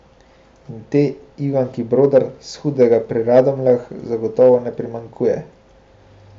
In te Ivanki Brodar s Hudega pri Radomljah zagotovo ne primanjkuje.